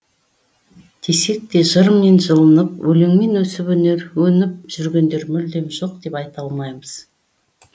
десекте жырмен жылынып өлеңмен өсіп өніп жүргендер мүлдем жоқ деп айта алмаймыз